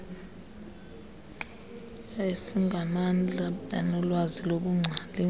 esingamandla anolwazi lobungcali